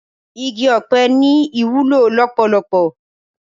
Igi òpè ni iwúló lópólópó